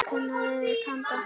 Hvenær yrði hafist handa?